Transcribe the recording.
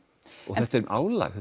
og álagið